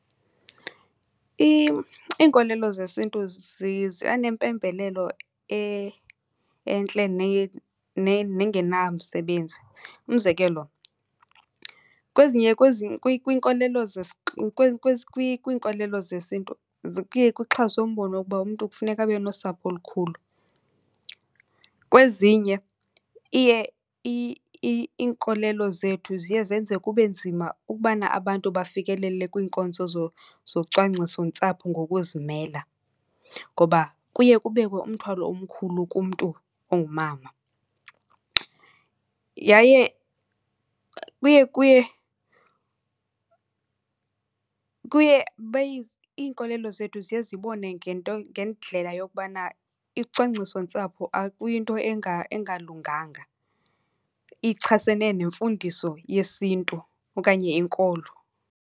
Iinkolelo zesiNtu zinganempembelelo entle nengenamsebenzi. Umzekelo, kwezinye, kwiinkolelo , kwiinkolelo zesiNtu kuye kuxhaswe umbono wokuba umntu kufuneka abe nosapho olukhulu. Kwezinye iye, iinkolelo zethu ziye zenze kube nzima ukubana abantu bafikelele kwiinkonzo zocwangcisontsapho ngokuzimela ngoba kuye kubekwe umthwalo omkhulu kumntu ongumama. Yaye kuye, kuye, kuye , iinkolelo zethu ziye zibone ngendlela yokubana icwangcisontsapho kuyinto engalunganga, ichasene nemfundiso yesiNtu okanye inkolo.